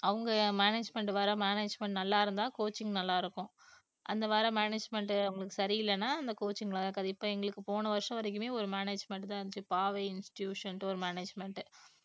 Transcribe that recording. அவங்க management வர management நல்லா இருந்தா coaching நல்லா இருக்கும் management அவங்களுக்கு சரியில்லைன்னா அந்த coaching இப்ப எங்களுக்கு போன வருஷம் வரைக்குமே ஒரு management தான் இருந்துச்சு பாவை இன்ஸ்டிடியூஷன் ஒரு management